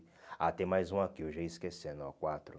Ah, tem mais um aqui, eu já ia esquecendo, ó quatro.